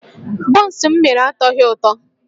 Bọns m mere atọghị ụtọ